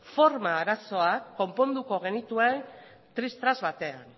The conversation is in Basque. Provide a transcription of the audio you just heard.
forma arazoak konponduko genituen tris tras batean